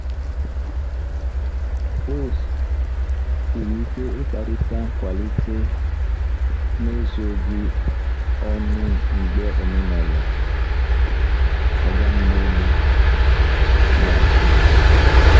Ọ siri ike ịkparịta nkwalite n'ezoghị ọnụ mgbe omenala “oga m n'elu” na-achị.